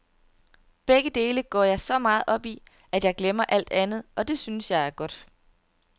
Begge dele går jeg så meget op i, at jeg glemmer alt andet, og det synes jeg er godt.